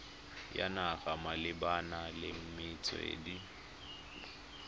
ya naga malebana le metswedi